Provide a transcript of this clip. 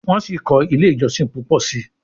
Wan sí kò ilé ìjósìn púpọ sí.